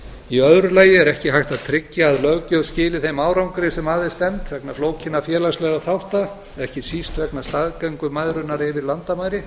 í öðru lagi er ekki hægt að tryggja að löggjöf skili þeim árangri sem að er stefnt vegna flókinna félagslegra þátta ekki síst vegna staðgöngumæðrunar yfir landamæri